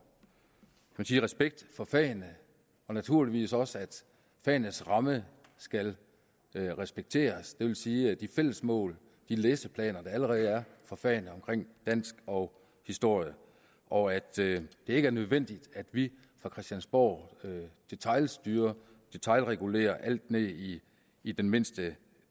respekt for fagene og naturligvis også at fagenes ramme skal respekteres det vil sige de fælles mål de læseplaner der allerede er for fagene dansk og historie og at det ikke er nødvendigt at vi fra christiansborg detailstyrer detailregulerer alt ned i i den mindste